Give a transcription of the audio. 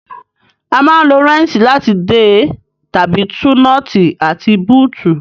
A máa ń lo rẹ́ńṣì láti dè tàbí tú nọ́ọ́tì àti bóótù